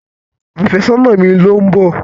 Àfẹ́sọ́nà mi ló ń bọ̀.